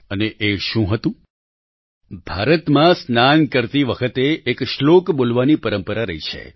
અને એ શું હતું ભારતમાં સ્નાન કરતી વખતે એક શ્લોક બોલવાની પરંપરા રહી છે